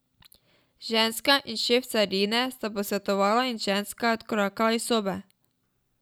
Ženska in šef carine sta se posvetovala in ženska je odkorakala iz sobe.